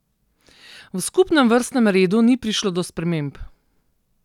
V skupnem vrstnem redu ni prišlo do sprememb.